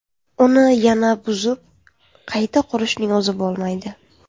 Uni yana buzib qayta qurishning o‘zi bo‘lmaydi.